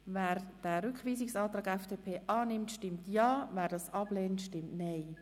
Wer den Rückweisungsantrag FDP annimmt, stimmt Ja, wer diesen ablehnt, stimmt Nein.